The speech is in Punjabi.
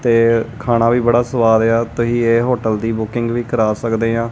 ਤੇ ਖਾਣਾ ਵੀ ਬੜਾ ਸਵਾਦ ਆ ਤੁਸੀਂ ਇਹ ਹੋਟਲ ਦੀ ਬੁਕਿੰਗ ਵੀ ਕਰਾ ਸਕਦੇ ਆ।